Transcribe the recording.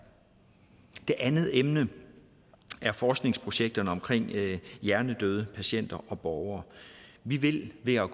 det andet emne er forskningsprojekterne om hjernedøde patienter og borgere vi vil ved at